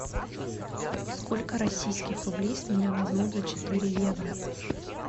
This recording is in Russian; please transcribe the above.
сколько российских рублей с меня возьмут за четыре евро